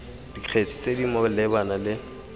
dikgetse tse di malebana le